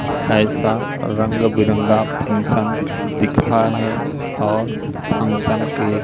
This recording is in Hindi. ऐसा रंग बिरंगा फंक्शन दिखा है और फंक्शन के--